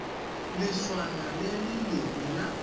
leswana le le lengwe la